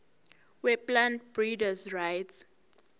weplant breeders rights